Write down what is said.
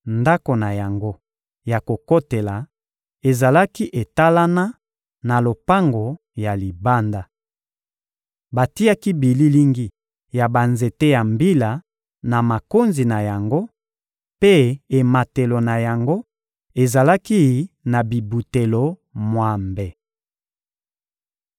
Ndako na yango ya kokotela ezalaki etalana na lopango ya libanda. Batiaki bililingi ya banzete ya mbila na makonzi na yango mpe ematelo na yango ezalaki na bibutelo mwambe.